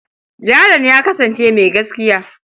Yaron ya kasance mai gaskiya.